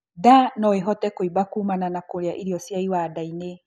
Ndaa noĩhote kuimba kumana na kurĩa irio cia iwanda-ini